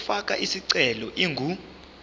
yokufaka isicelo ingu